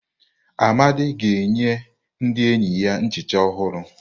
Amadi ga-enye ndị enyi ya nchicha ọhụrụ.